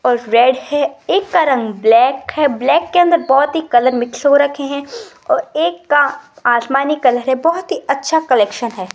और रेड है एक का रंग ब्लैक है और ब्लैक के अंदर बहोत ही कलर मिक्स हो रखे है और एक का आसमानी कलर है बहोत ही अच्छा कलेक्शन है।